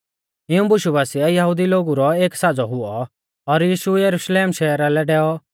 इऊं बुशु बासिऐ यहुदिऊ लोगु रौ एक साज़ौ हुऔ और यीशु यरुशलेम शहरा लै डैऔ